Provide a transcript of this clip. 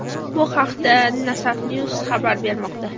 Bu haqda Nasafnews xabar bermoqda .